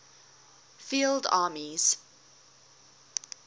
field armies